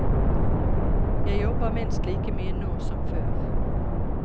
Jeg jobber minst like mye nå som før.